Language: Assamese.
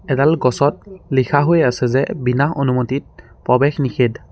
এডাল গছত লিখা হৈ আছে যে বিনা অনুমতিত প্ৰবেশ নিষেধ।